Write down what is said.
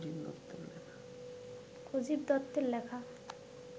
অজিত দত্তের লেখা